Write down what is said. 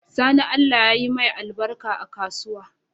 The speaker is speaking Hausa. Sani allah yayi mai albarka a kasuwa